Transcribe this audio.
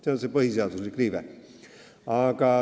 See on põhiseaduslik riive.